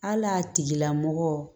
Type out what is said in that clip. Hali a tigila mɔgɔ